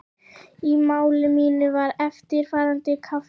Í máli mínu var eftirfarandi kafli